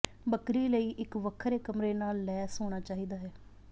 ਬੱਕਰੀ ਲਈ ਇੱਕ ਵੱਖਰੇ ਕਮਰੇ ਨਾਲ ਲੈਸ ਹੋਣਾ ਚਾਹੀਦਾ ਹੈ